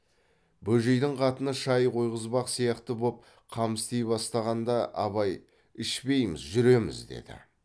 бөжейдің қатыны шай қойғызбақ сияқты боп қам істей бастағанда абай ішпейміз жүреміз деді